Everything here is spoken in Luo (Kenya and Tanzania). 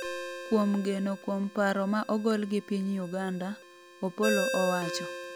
kuom geno kuom paro ma ogol gi piny Uganda, Opolo owacho